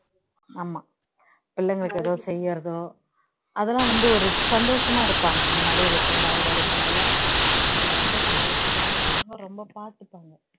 ஆமா பிள்ளைங்களுக்கு ஏதோ செய்யுறதோ அதெல்லாம் வந்து ஒரு சந்தோஷமா இருப்பாங்க இந்த மாதிரி retired ஆகி வரும்போது எல்லாம் அவங்க ரொம்ப சந்தோஷமாவும் இருப்பாங்க ரொம்ப பார்த்துப்பாங்க